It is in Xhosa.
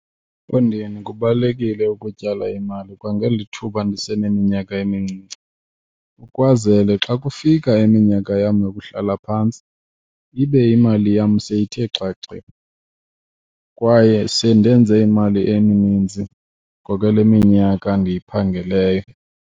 Mfondini, kubalulekile ukutyala imali kwangeli thuba ndiseneminyaka emincinci ukwenzele xa kufika iminyaka yam yokuhlala phantsi ibe imali yam seyithe xaxe kwaye sendenze imali emininzi ngokwale minyaka ndiyiphangeleyo.